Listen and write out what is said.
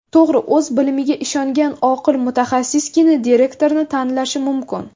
To‘g‘ri, o‘z bilimiga ishongan oqil mutaxassisgina direktorni tanlashi mumkin.